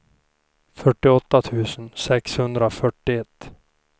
fyrtioåtta tusen sexhundrafyrtioett